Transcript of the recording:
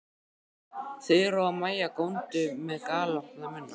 Þura og Maja góndu með galopna munna.